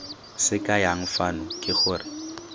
se kayang fano ke gore